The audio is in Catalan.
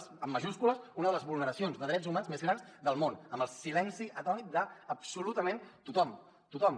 amb majúscules eh una de les vulneracions de drets humans més grans del món amb el silenci atònit d’absolutament tothom tothom